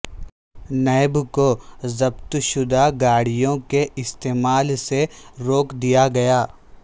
NAB کو ضبط شدہ گاڑیوں کے استعمال سے روک دیا گیا